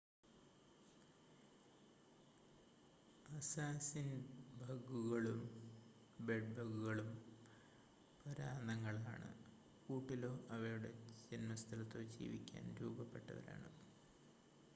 അസ്സാസിൻ-ബഗുകളും ബെഡ്-ബഗുകളും പരാന്നങ്ങൾ ആണ് കൂട്ടിലോ അവയുടെ ജൻമസ്ഥലത്തോ ജീവിക്കാൻ രൂപപ്പെട്ടവരാണ്